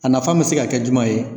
A nafa bɛ se ka kɛ juma ye?